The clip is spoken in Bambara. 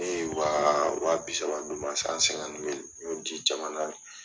Ne ye wa bi saba d'u ma, ne y'o di jamana